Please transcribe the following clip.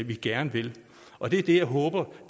vi gerne vil og det er det jeg håber